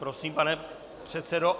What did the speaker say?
Prosím, pane předsedo.